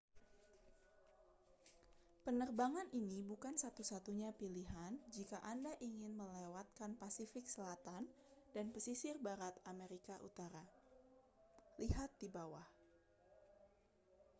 penerbangan ini bukan satu-satunya pilihan jika anda ingin melewatkan pasifik selatan dan pesisir barat amerika utara. lihat di bawah